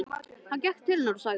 Hann gekk til hennar og sagði